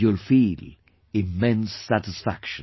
You will feel immense satisfaction